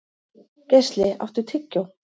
Geisli, áttu tyggjó?